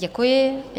Děkuji.